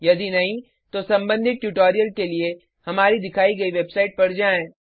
यदि नहीं तो संबंधित ट्यूटोरियल के लिए हमारी दिखाई गयी वेबसाइट पर जाएँ